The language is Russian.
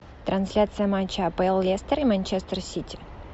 трансляция матча апл лестер и манчестер сити